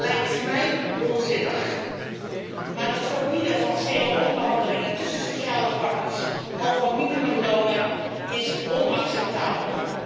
lijkt mij onzinnig, maar het verbieden van cao-onderhandelingen tussen sociale partners over minimumlonen is onacceptabel.